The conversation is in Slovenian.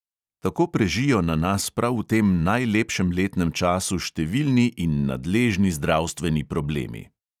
Tako prežijo na nas prav v tem najlepšem letnem času številni in nadležni zdravstveni problemi.